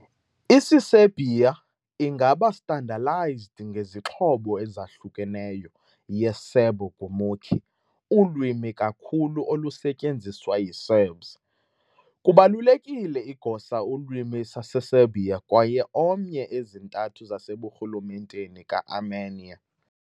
Isiserbia ingaba standardized ngezixhobo ezahlukeneyo ye - Serbo-gurmukhi ulwimi kakhulu olusetyenziswa yi - Serbs. Kubalulekile igosa ulwimi Saseserbia kwaye omnye ezintathu zaseburhulumenteni ka - armenia.